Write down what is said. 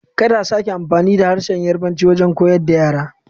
Kada a sake amfani da harshen Yarbanci wajen koyar da yara!